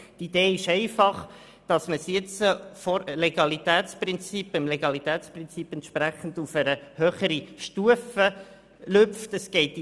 Die Idee ist einfach, diesen jetzt, dem Legalitätsprinzip entsprechend, auf eine höhere Stufe zu heben.